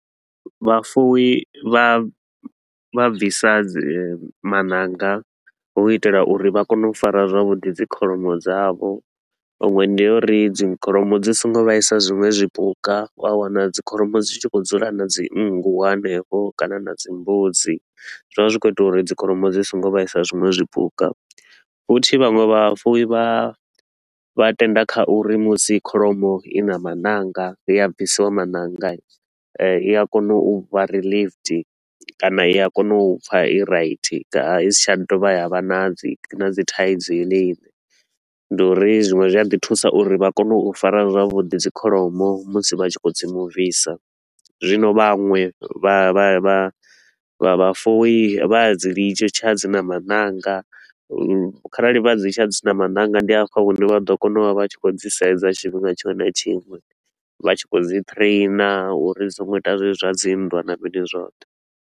Vhafuwi vha vha bvisa dzi maṋanga, hu itela uri vha kone u fara zwavhuḓi dzi kholomo dzavho. Iṅwe ndi ya uri dzi kholomo dzi so ngo vhaisa zwiṅwe zwipuka, u a wana dzi kholomo dzi tshi khou dzula na dzi nngu hanefho kana na dzi mbudzi, zwi vha zwi khou ita uri dzi kholomo dzi so ngo vhaisa zwiṅwe zwipuka. Futhi vhaṅwe vhafuwi vha vha tenda kha uri musi kholomo i na maṋanga, ya bvisiwa maṋanga i, eh i a kona u vha relieved kana i a kona u pfa i right i si tsha dovha ya vha i na dzi na dzi thaidzo yone ine. Ndi uri zwiṅwe zwi a ḓi thusa uri vha kone u fara zwavhuḓi dzi kholomo musi vha tshi khou dzi movisa, zwino vhanwe vha vha vha vha vhafuwi vha a dzi litsha dzi na maṋanga, kharali vha dzi litsha dzi na maṋanga, ndi afho hune vha ḓo kona u vha vha tshi khou dzi sedza tshifhinga tshiṅwe na tshiṅwe, vha tshi khou dzi trainer uri dzi so ngo ita zwezwi zwa dzi nndwa na mini zwoṱhe.